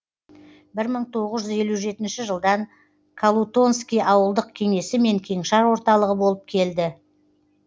бір мың тоғыз жүз елі жетінші жылдан колутонский ауылдық кеңесі мен кеңшар орталығы болып келді